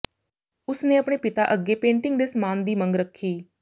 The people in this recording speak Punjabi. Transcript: ਉਸ ਨੇ ਅਪਣੇ ਪਿਤਾ ਅੱਗੇ ਪੇਂਟਿੰਗ ਦੇ ਸਮਾਨ ਦੀ ਮੰਗ ਰੱਖੀ